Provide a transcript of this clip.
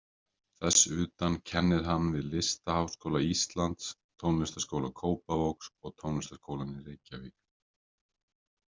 Þess utan kennir hann við Listaháskóla Íslands, Tónlistarskóla Kópavogs og Tónlistarskólann í Reykjavík.